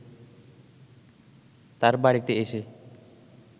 তার বাড়িতে এসে